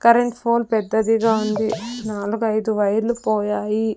Current pole పెద్దదిగా ఉంది నాలుగైదు వైర్లు పోయాయి.